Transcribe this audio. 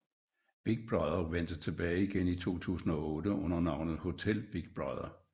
Big Brother vendte tilbage igen i 2008 under navnet Hotel Big Brother